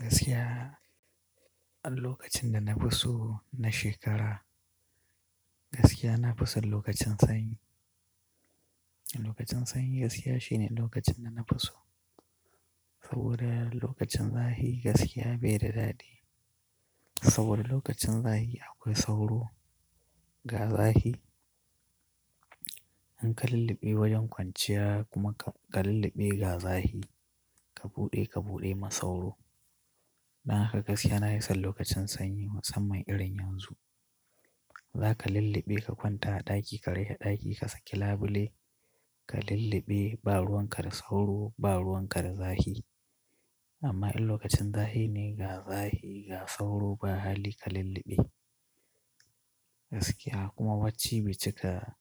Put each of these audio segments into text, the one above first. Gaskiya, an lokacin da na fi so na shekara, gaskiya na fi son lokacin sanyi. Lokacin sanyi gaskiya shine lokacin da na fi so. Saboda lokacin zafi gaskiya bai da daɗi. Saboda lokacin zafi akwai sauro, ga zafi. In ka lulluɓe wajen kwanciya kuma ka lulluɓe ga zafi, ka buɗe ka buɗe ma sauro. Dan haka gaskiya na hi san lokacin sanyi musamman irin yanzu. Za ka lulluɓe ka kwanta a ɗaki ka rihe ɗaki ka saki labule, ka lulluɓe, ba ruwan ka da sauro ba ruwan ka da zahi. Amma an lokacin zafi ne ga zafi ga sauro ba hali ka lulluɓe. Gaskiya kuma bacci be ci ka,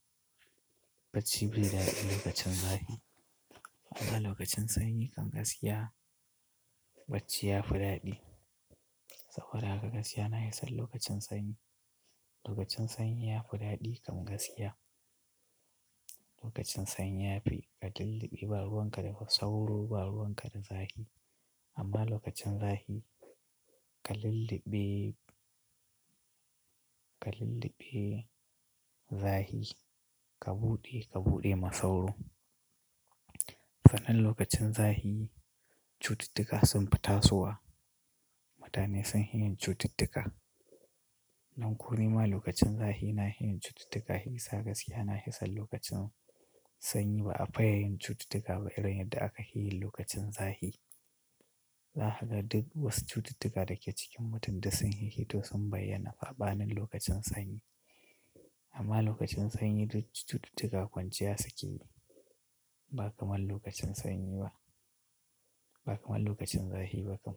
bacci bai da daɗi lokacin zahi. Amma lokacin sanyi kam gaskiya bacci ya fi daɗi. Saboda haka gaskiya na yi son lokacin sanyi. Lokacin sanyi ya fi daɗi kam gaskiya. Lokacin sanyi yafi ka lulluɓe ba ruwan ka da sauro ba ruwan ka da zafi. Amma lokacin zafi ka lulluɓe, ka lulluɓe zahi ka buɗe ka buɗe ma sauro. Sannan lokacin zahi cututtuka sun fita sowa. Mutane sun hi yin cututtuka. Dan ko nima lokacin zahi na hi yin cututtuka hi yasa gaskiya na hi san lokacin sanyi ba a fi yin cututtuka ba irin yadda aka yi lokacin zahi. Dan haka duk wasu cututtuka da ke cikin mutum duk sun hih hito sun bayyana saɓanin lokacin sanyi. Amma lokacin sanyi duk cututtuka kwanciya suke yi. Ba kamar lokacin sanyi ba, ba kamar lokacin zahi ba kam.